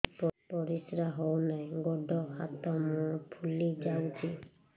ପରିସ୍ରା ହଉ ନାହିଁ ଗୋଡ଼ ହାତ ମୁହଁ ଫୁଲି ଯାଉଛି